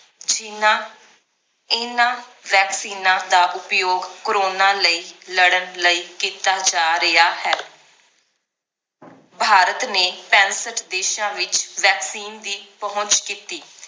ਜਿਹਨਾਂ ਇਹਨਾਂ ਵੈਕਸੀਨਾਂ ਦਾ ਉਪਯੋਗ ਕਰੋਨਾ ਲਈ ਲੜਨ ਲਈ ਕੀਤਾ ਜਾ ਰਿਹਾ ਹੈ ਭਾਰਤ ਨੇ ਪੈਂਸਠ ਦੇਸ਼ਾਂ ਵਿਚ vaccine ਦੀ ਪਹੁੰਚ ਕੀਤੀ